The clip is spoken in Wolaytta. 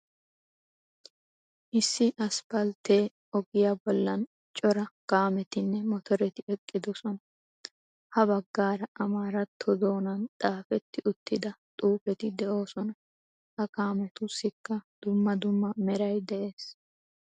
Issi asppaltte ogiya bollan cora kaammettonne mottoreti eqqidosona. Ha bagaara amaaratto doonaan xaafetti uttida xuufeti de'oosona. Ha kaamettussikka dumma dumma meray de"ees.